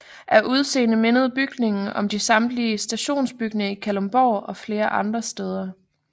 Af udseende mindede bygningen om de samtidige stationsbygninger i Kalundborg og flere andre steder